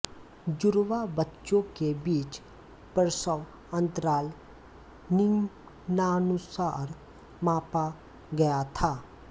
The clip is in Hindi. जुड़वा बच्चों के बीच प्रसव अंतराल निम्नानुसार मापा गया था